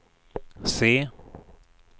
se